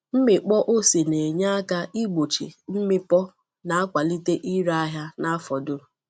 Ịmịkpọ ose na-enye aka igbochi mmịpọ na-akwalite ire ahịa n’afọ dum.